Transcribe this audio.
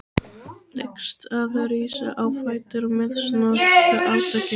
Tekst að rísa á fætur með snörpu átaki.